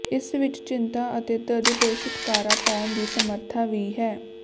ਇਸ ਵਿਚ ਚਿੰਤਾ ਅਤੇ ਦਰਦ ਤੋਂ ਛੁਟਕਾਰਾ ਪਾਉਣ ਦੀ ਸਮਰੱਥਾ ਵੀ ਹੈ